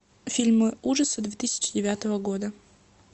фильмы ужасов две тысячи девятого года